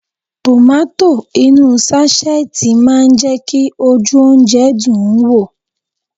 Tomato inú sáṣẹ́ẹ̀tì máa ń jẹ́ kí ojú oúnjẹ dùn ún wò